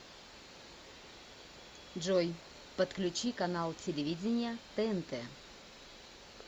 джой подключи канал телевидения тнт